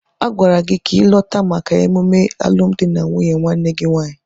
Agwara gị ka ịlọta maka ememe alụmdi na nwunye nwanne gị nwaanyị!